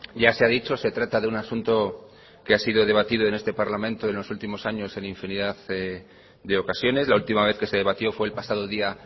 ya se ha dicho se trata de un asunto que ha sido debatido en este parlamento en los últimos años en infinidad de ocasiones la última vez que se debatió fue el pasado día